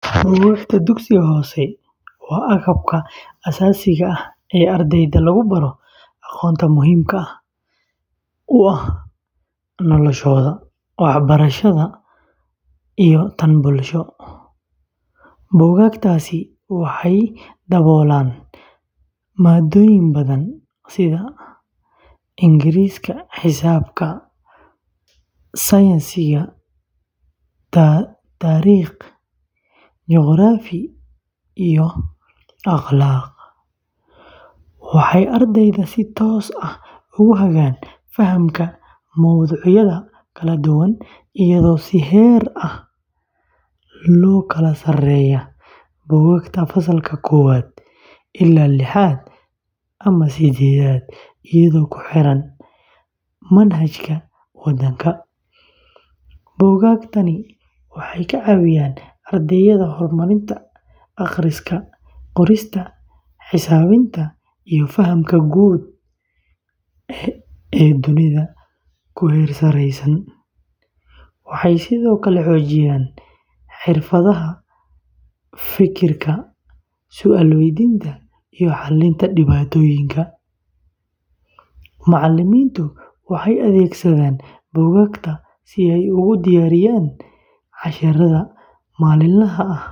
Buugaagta dugsiyada hoose waa agabka aasaasiga ah ee ardayda lagu baro aqoonta muhiimka u ah noloshooda waxbarasho iyo tan bulsho. Buugaagtaasi waxay daboolaan maadooyin badan sida Ingiriis, Xisaab, Saynis, Taariikh, Juqraafi, iyo Akhlaaq. Waxay ardayda si toos ah ugu hagaan fahamka mowduucyada kala duwan iyadoo si heerar ah loo kala saaray buugaagta fasalka koowaad ilaa liixaad ama sidedhaad, iyadoo ku xiran manhajka waddanka. Buugaagtani waxay ka caawiyaan ardayda horumarinta akhriska, qorista, xisaabinta, iyo fahamka guud ee dunida ku hareeraysan. Waxay sidoo kale xoojiyaan xirfadaha fekerka, su’aal weydiinta, iyo xalinta dhibaatooyinka. Macallimiintu waxay adeegsadaan buugaagta si ay ugu diyaariyaan casharrada maalinlaha ah.